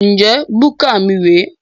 Njẹ búkà mí rè é?